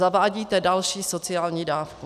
Zavádíte další sociální dávku.